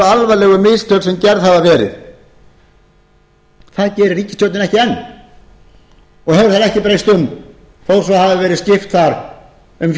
alvarlegu mistök sem gerð hafa verið það gerir ríkisstjórnin ekki enn og hefur ekki breytt um þó hafi verið skipt þar um